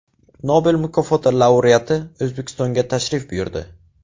Nobel mukofoti laureati O‘zbekistonga tashrif buyurdi.